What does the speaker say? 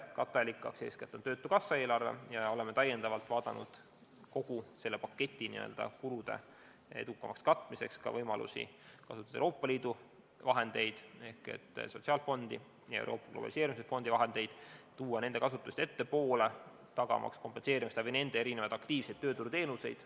Katteallikaks on eeskätt töötukassa eelarve ja täiendavalt oleme kaalunud kogu selle paketi kulude edukamaks katmiseks ka võimalusi kasutada Euroopa Liidu vahendeid, näiteks sotsiaalfondi omi, tuua nende kasutust ettepoole, tagamaks nende abil erinevaid aktiivseid tööturuteenuseid.